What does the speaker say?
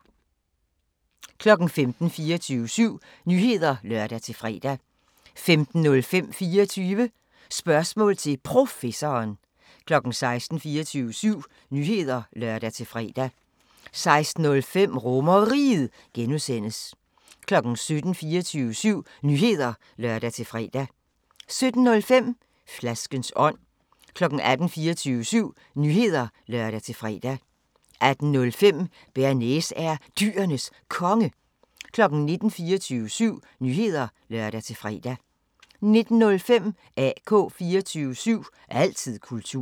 15:00: 24syv Nyheder (lør-fre) 15:05: 24 Spørgsmål til Professoren 16:00: 24syv Nyheder (lør-fre) 16:05: RomerRiget (G) 17:00: 24syv Nyheder (lør-fre) 17:05: Flaskens ånd 18:00: 24syv Nyheder (lør-fre) 18:05: Bearnaise er Dyrenes Konge 19:00: 24syv Nyheder (lør-fre) 19:05: AK 24syv – altid kultur